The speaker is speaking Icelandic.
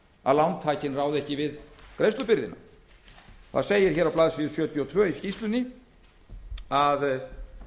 að lántakinn ráði ekki við greiðslubyrðina á blaðsíðu sjötíu og tvö í skýrslunni segir að